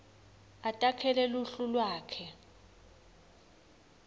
atakhele luhlu lwakhe